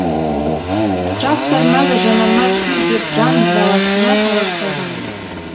тракторына да жанармай құй деп жан баласына талап қойған емес